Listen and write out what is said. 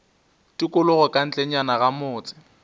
tikologo ka ntlenyana ga motse